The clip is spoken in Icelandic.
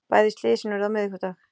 Bæði slysin urðu á miðvikudag